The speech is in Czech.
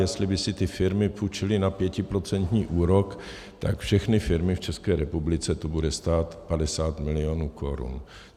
Jestli by si ty firmy půjčily na pětiprocentní úrok, tak všechny firmy v České republice to bude stát 50 milionů korun.